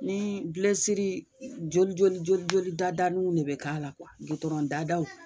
Ni bilesiri joli joli joli joli dadanuw de be kɛ a la kuwa gitɔrɔn dadaw